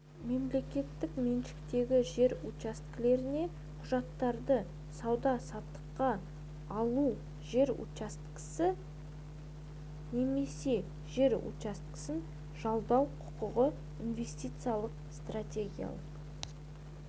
мемлекеттік меншіктегі жер учаскелеріне құқықтарды сауда-саттықта алу жер учаскесі немесе жер учаскесін жалдау құқығы инвестициялық стратегиялық